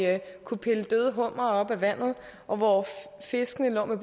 kunne pille døde hummere op af vandet og hvor fiskene lå med